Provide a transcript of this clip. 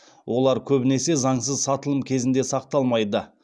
олар көбінесе заңсыз сатылым кезінде сақталмайды